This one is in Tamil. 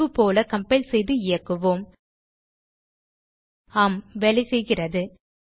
முன்பு போல கம்பைல் செய்து இயக்குவோம் ஆம் வேலைசெய்கிறது